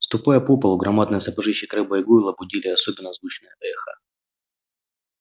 ступая по полу громадные сапожищи крэбба и гойла будили особенно звучное эхо